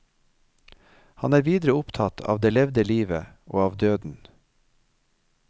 Han er videre opptatt av det levde livet og av døden.